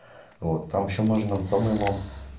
вот там ещё можно по-моему